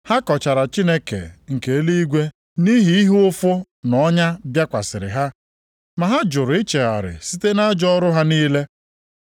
Ha kọchara Chineke nke eluigwe nʼihi ihe ụfụ na ọnya bịakwasịrị ha. Ma ha jụrụ ichegharị site nʼajọ ọrụ ha niile.